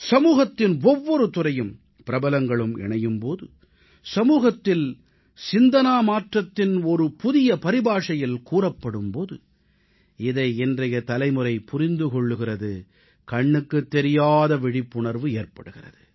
சமூகத்தின் ஒவ்வொரு துறையும் பிரபலங்களும் இணையும் போது சமூகத்தில் சிந்தனை மாற்றத்தின் ஒரு புதிய பரிபாஷையில் கூறப்படும் போது இதை இன்றைய தலைமுறை புரிந்து கொள்கிறது கண்ணுக்குத் தெரியாத விழிப்புணர்வு ஏற்படுகிறது